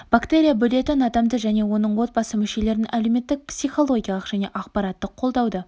бактерия бөлетін адамды және оның отбасы мүшелерін әлеуметтік психологиялық және ақпараттық қолдауды